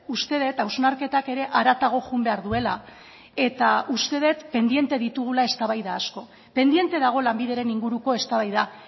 uste dut hausnarketak ere haratago joan behar duela eta uste dut pendiente ditugula eztabaida asko pendiente dago lanbideren inguruko eztabaida